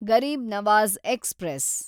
Garib Nawaz express